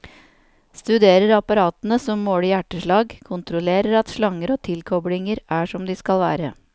Studerer apparatene som måler hjerteslag, kontrollerer at slanger og tilkoblinger er som de skal være.